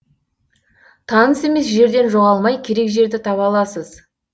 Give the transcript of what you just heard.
таныс емес жерден жоғалмай керек жерді таба аласыз